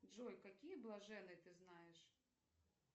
джой какие блаженные ты знаешь